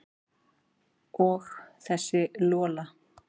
Og þessi Lola.